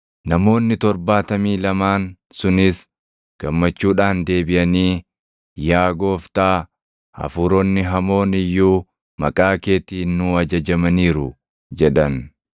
Namoonni torbaatamii lamaan sunis gammachuudhaan deebiʼanii, “Yaa Gooftaa, hafuuronni hamoon iyyuu maqaa keetiin nuu ajajamaniiru” jedhan.